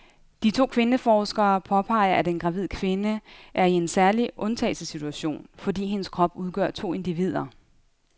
De to kvindeforskere påpeger, at en gravid kvinde er i en særlig undtagelsessituation, fordi hendes krop udgør to individer.